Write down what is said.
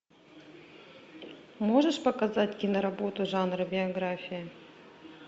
можешь показать киноработу жанра биография